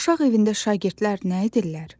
Uşaq evində şagirdlər nə edirlər?